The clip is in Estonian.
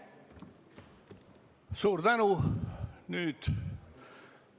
Suur tänu!